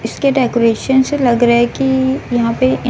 इसके डेकोरेशन से लग रहा है कि यहां पे--